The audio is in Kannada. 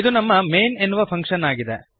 ಇದು ನಮ್ಮ ಮೈನ್ ಎನ್ನುವ ಫಂಕ್ಶನ್ ಆಗಿದೆ